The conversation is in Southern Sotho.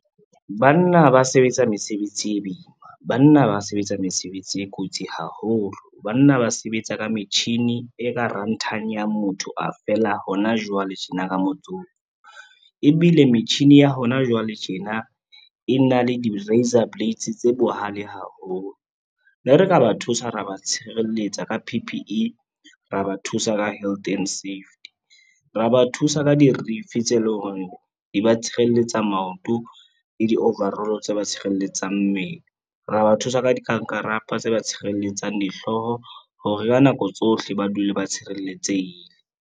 Banna ba sebetsa mesebetsi e bima, banna ba sebetsa mesebetsi e kotsi haholo. Banna ba sebetsa ka metjhini e ka ranthanyang ya motho a fela hona jwale tjena ka motsotso. Ebile metjhini ya hona jwale tjena e na le di-raizor blades tse bohale haholo. Ne re ka ba thusa, ra ba tshireletsa ka P_P_E, ra ba thusa ka health and safety, ra ba thusa ka dirifi tse leng hore di ba tshireletsa maoto le di-overall tse ba tshireletsang mmele. Ra ba thusa ka dikankarapa tse ba tshireletsang dihlooho hore ka nako tsohle ba dule ba tshireletsehile.